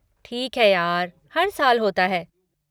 ठीक है यार, हर साल होता है।